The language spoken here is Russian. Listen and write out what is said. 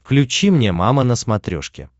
включи мне мама на смотрешке